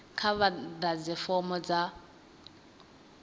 kha vha ḓadze fomo dza